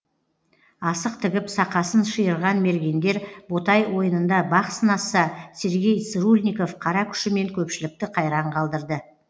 асық тігіп сақасын шиырған мергендер ботай ойынында бақ сынасса сергей цырульников қара күшімен көпшілікті қайран қалдырды